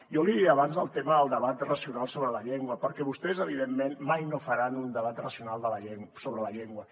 jo li deia abans el tema del debat racional sobre la llengua perquè vostès evidentment mai no faran un debat racional sobre la llengua